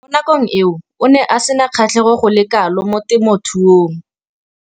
Mo nakong eo o ne a sena kgatlhego go le kalo mo temothuong.